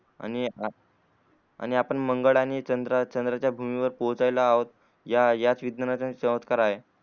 आणि आपण मंगल आणि चंद्राच्या भूमीवर पोचायला आहोत या या